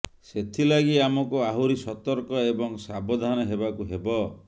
ସେଥିଲାଗି ଆମକୁ ଆହୁରି ସତର୍କ ଏବଂ ସାବଧାନ ହେବାକୁ ହେବ